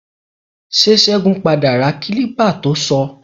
Ṣé Ṣẹ́gun padà ra kílípà to sọ?